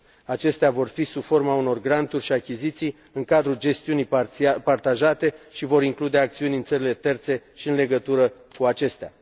Acestea vor fi sub forma unor granturi și achiziții în cadrul gestiunii partajate și vor include acțiuni în țările terțe și în legătură cu acestea.